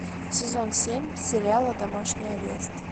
сезон семь сериала домашний арест